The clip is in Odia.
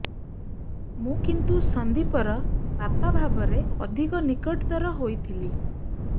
ମୁଁ କିନ୍ତୁ ସନ୍ଦୀପର ବାପା ଭାବରେ ଅଧିକ ନିକଟତର ହୋଇଥିଲି